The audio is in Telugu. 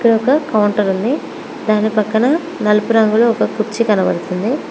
ఇక్కడ ఒక కౌంటర్ ఉంది దాని పక్కన నలుపు రంగు కుర్చీ కనబడుతుంది.